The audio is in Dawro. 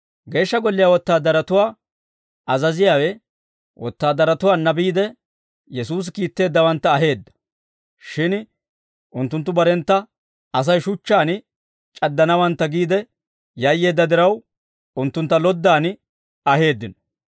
Geeshsha Golliyaa wotaadaratuwaa azaziyaawe wotaadaratuwaanna biide, Yesuusi kiitteeddawantta aheedda; shin unttunttu barentta Asay shuchchaan c'addanawantta giide yayyeedda diraw, unttuntta loddan aheeddino.